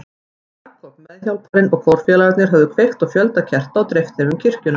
Séra Jakob, meðhjálparinn og kórfélagarnir höfðu kveikt á fjölda kerta og dreift þeim um kirkjuna.